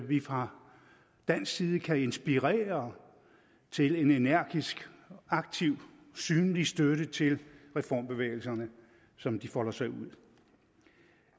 vi fra dansk side kan inspirere til en energisk aktiv og synlig støtte til reformbevægelserne som de folder sig ud